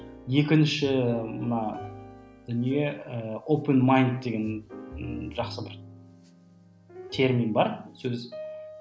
екінші мына дүние ы деген ы жақсы бір термин бар сөз